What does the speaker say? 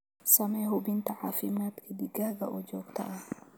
Samee hubinta caafimaadka digaaga oo joogto ah.